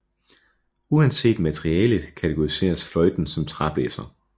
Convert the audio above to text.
Uanset materialet kategoriseres fløjten som træblæser